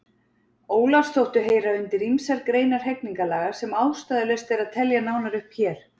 Ólafs þóttu heyra undir ýmsar greinar hegningarlaga sem ástæðulaust er að telja nánar hér upp.